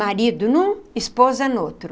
Marido num, esposa no outro.